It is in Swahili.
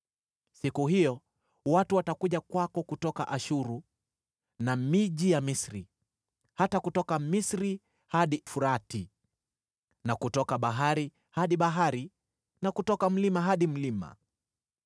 Siku hiyo watu watakuja kwako kutoka Ashuru na miji ya Misri, hata kutoka Misri hadi Frati na kutoka bahari hadi bahari na kutoka mlima hadi mlima.